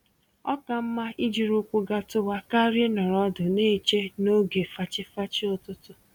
Oka mma ijiri ụkwụ gatuwa karịa ịnọrọ ọdụ n'eche n'oge fachi-fachi ụtụtụ